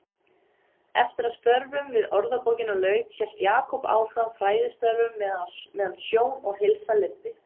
Eftir að störfum við Orðabókina lauk hélt Jakob áfram fræðistörfum meðan sjón og heilsa leyfði.